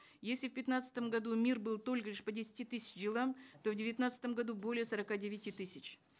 если в пятнадцатом году мир был только лишь по десяти тысячам делам то в девятнадцатом году более сорока девяти тысяч